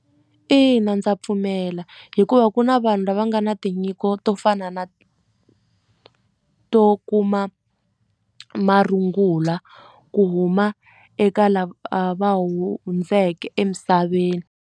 Ina ndza pfumela hikuva ku na vanhu lava nga na tinyiko to fana na to kuma marungula ku huma eka lava va hundzeke emisaveni.